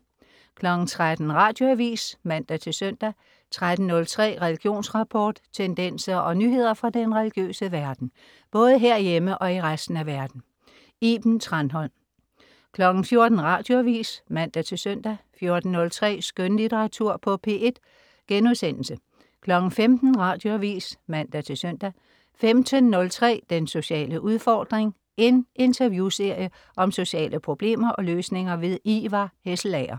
13.00 Radioavis (man-søn) 13.03 Religionsrapport. Tendenser og nyheder fra den religiøse verden, både herhjemme og i resten af verden. Iben Thranholm 14.00 Radioavis (man-søn) 14.03 Skønlitteratur på P1* 15.00 Radioavis (man-søn) 15.03 Den sociale udfordring. En interviewserie om sociale problemer og løsninger. Ivar Hesselager